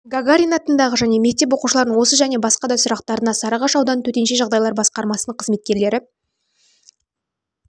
гагарин атындағы және мектеп оқушыларының осы және басқа да сұрақтарына сарыағаш ауданы төтенше жағдайлар басқармасының қызметкерлері